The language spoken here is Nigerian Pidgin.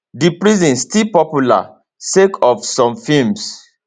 di prison still popular sake of some films